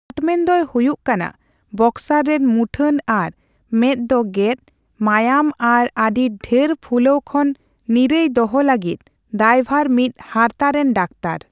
ᱠᱟᱴᱢᱮᱱ ᱫᱚᱭ ᱦᱩᱭᱩᱜ ᱠᱟᱱᱟ ᱵᱚᱠᱥᱟᱨ ᱨᱮᱱ ᱢᱩᱴᱷᱟᱹᱱ ᱟᱨ ᱢᱮᱫ ᱫᱚ ᱜᱮᱫ, ᱢᱟᱭᱟᱢ ᱟᱨ ᱟᱹᱰᱤ ᱰᱷᱮᱨ ᱯᱷᱩᱞᱟᱹᱣ ᱠᱷᱚᱱ ᱱᱤᱨᱟᱹᱭ ᱫᱚᱦᱚ ᱞᱟᱹᱜᱤᱫ ᱫᱟᱭᱵᱷᱟᱨ ᱢᱤᱫ ᱦᱟᱨᱛᱟ ᱨᱮᱱ ᱰᱟᱠᱛᱟᱨ ᱾